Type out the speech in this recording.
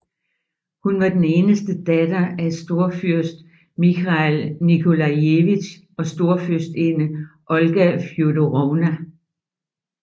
Hun var den eneste datter af storfyrst Mikhail Nikolajevitj og storfyrstinde Olga Fjodorovna